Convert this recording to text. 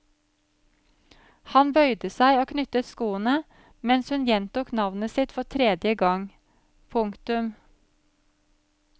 Han bøyde seg og knyttet skoene mens hun gjentok navnet sitt for tredje gang. punktum